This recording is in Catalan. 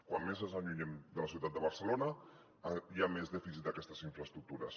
com més ens allunyem de la ciutat de barcelona hi ha més dèficit d’aquestes infraestructures